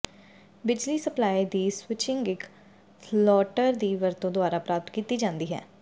ਬਿਜਲੀ ਸਪਲਾਈ ਦੀ ਸਵਿੱਚਿੰਗ ਇੱਕ ਥਰੌਲਟਰ ਦੀ ਵਰਤੋਂ ਦੁਆਰਾ ਪ੍ਰਾਪਤ ਕੀਤੀ ਜਾਂਦੀ ਹੈ